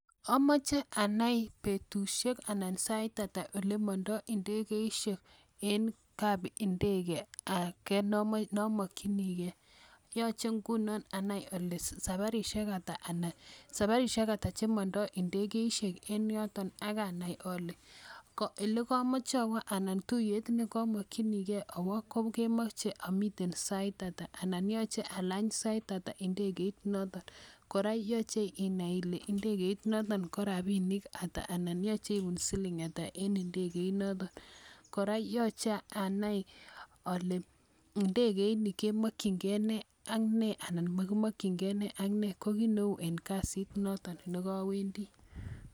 Amache anai petushek anan sait ata ole mandai ndegeishek en kap ndege ake ne amakchinigei. Yache ingunan anai ale saparishek ata che mandai ndegeishek en yotok ak anai ale ole kamache awa anan tuyet ne kamakchinigei awa kemache amiten sait ata, anan yache alany saita ata ndegeit notok. Kora ko yache inai ile ndegeit notok ko rapinik ata anan ko yache ipun siling' ata en ndegeinotok. Kora ko che anai kole ndegeini kemakchin gei ne ak ne anan ko makimakchingei ne ak ne. Ko ki ne u eng' kasit notok ne kawendi.